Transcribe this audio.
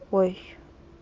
ой